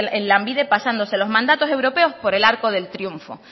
en lanbide pasándose los mandatos europeos por el arco del triunfo